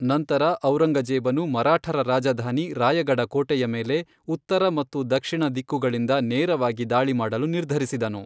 ನಂತರ ಔರಂಗಜೇಬನು ಮರಾಠರ ರಾಜಧಾನಿ ರಾಯಗಢ ಕೋಟೆಯ ಮೇಲೆ ಉತ್ತರ ಮತ್ತು ದಕ್ಷಿಣ ದಿಕ್ಕುಗಳಿಂದ ನೇರವಾಗಿ ದಾಳಿ ಮಾಡಲು ನಿರ್ಧರಿಸಿದನು.